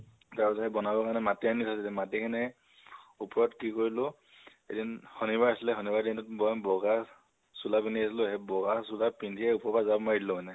তাৰপিছত সেই বনাবৰ কাৰণে মাতি আনিছে তেতিয়া মাতি কিনে উপৰত কি কৰিলো এদিন শনিবাৰ আছিলে। শনিবাৰৰ দিনটোত মই বগা চোলা পিন্ধি আহিছিলো। সেই বগা চোলা পিন্ধিয়ে উপৰৰ পৰা জাপ মাৰি দিলো মানে।